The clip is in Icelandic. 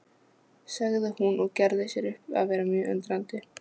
sagði hún og gerði sér upp að vera mjög undrandi.